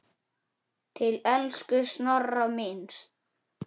Til elsku Snorra míns.